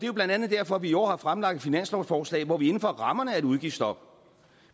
jo blandt andet derfor vi i år har fremlagt et finanslovsforslag hvor vi inden for rammerne af et udgiftsstop